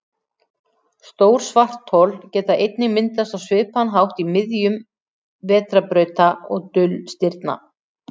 Stór svarthol geta einnig myndast á svipaðan hátt í miðjum vetrarbrauta og dulstirna.